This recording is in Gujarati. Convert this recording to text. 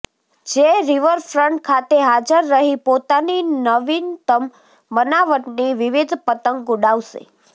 જે રીવરફ્રન્ટ ખાતે હાજર રહી પોતાની નવિનતમ બનાવટની વિવિધ પતંગ ઉડાવશે